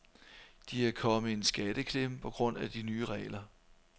De er kommet i en skatteklemme på grund af de nye regler.